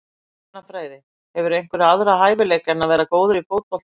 Efnafræði Hefurðu einhverja aðra hæfileika en að vera góður í fótbolta?